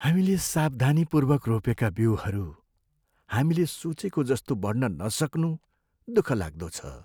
हामीले सावधानीपूर्वक रोपेका बिउहरू हामीले सोचेको जस्तो बढ्न नसक्नु दुखलाग्दो छ।